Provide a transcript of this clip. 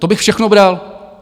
To bych všechno bral.